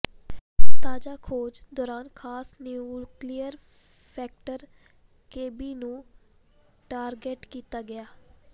ਤਾਜ਼ਾ ਖੋਜ ਦੌਰਾਨ ਖਾਸ ਨਿਊਕਲੀਅਰ ਫੈਕਟਰ ਕੇਬੀ ਨੂੰ ਟਾਰਗੈਟ ਕੀਤਾ ਗਿਆ